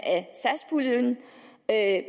af